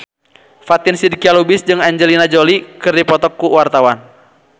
Fatin Shidqia Lubis jeung Angelina Jolie keur dipoto ku wartawan